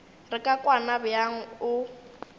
re ka kwana bjang o